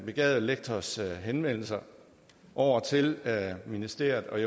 begavede lektors henvendelse over til ministeriet og